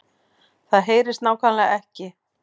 Það HEYRIST NÁKVÆMLEGA EKKI